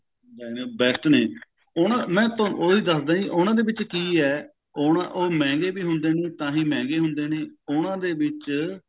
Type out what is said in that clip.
best ਨੇ ਉਹਨਾਂ ਮੈਂ ਤੁਹਾਨੂੰ ਉਹੀ ਦੱਸਦਾ ਜੀ ਉਹਨਾਂ ਦੇ ਵਿੱਚ ਕਿ ਐ ਉਹ ਮਹਿੰਗੇ ਵੀ ਹੁੰਦੇ ਨੇ ਤਾਹੀਂ ਮਹਿੰਗੇ ਹੁੰਦੇ ਨੇ ਉਹਨਾਂ ਦੇ ਵਿੱਚ